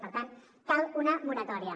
per tant cal una moratòria